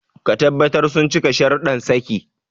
Ka tabbatar sun cika shararuddan saki.